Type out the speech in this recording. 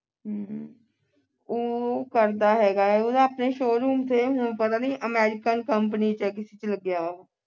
ਉਹ ਕਰਦਾ ਹੈਗਾ ਆ ਉਹਦਾ ਆਪਣੇ showroom ਥੇ ਹੁਣ ਪਤਾ ਨੀ American Company ਵਿਚ ਕਿਸੇ ਵਿਚ ਲੱਗਿਆ ਆ